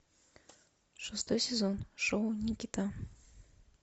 шестой сезон шоу никита